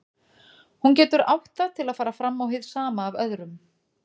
Hún getur átt það til að fara fram á hið sama af öðrum.